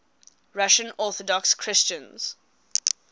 russian orthodox christians